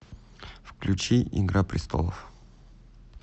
включи игра престолов